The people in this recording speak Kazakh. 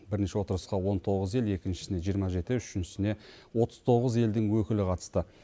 бірінші отырысқа он тоғыз ел екіншісіне жиырма жеті үшіншісіне отыз тоғыз елдің өкілі қатысты